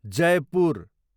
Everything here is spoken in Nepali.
जयपुर